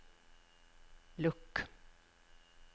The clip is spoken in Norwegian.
lukk